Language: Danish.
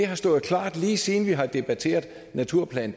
har stået klart lige siden vi har debatteret naturplan